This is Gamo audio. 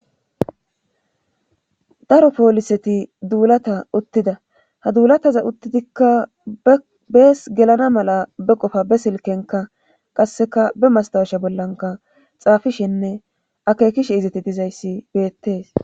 Daro pooliseti duulata uttida ha duulataza uttidikka bees gelana mala be qofa be silkenka qasseka be mastawasha bollanka xaafishenne akekishe izati dizayssi beettees